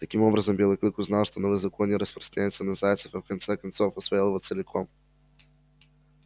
таким образом белый клык узнал что новый закон не распространяется на зайцев и в конце концов усвоил его целиком